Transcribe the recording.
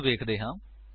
ਹੁਣ ਵੇਖਦੇ ਹਾਂ